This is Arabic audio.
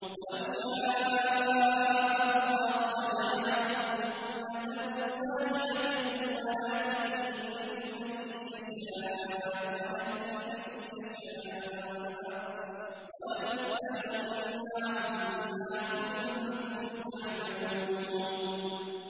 وَلَوْ شَاءَ اللَّهُ لَجَعَلَكُمْ أُمَّةً وَاحِدَةً وَلَٰكِن يُضِلُّ مَن يَشَاءُ وَيَهْدِي مَن يَشَاءُ ۚ وَلَتُسْأَلُنَّ عَمَّا كُنتُمْ تَعْمَلُونَ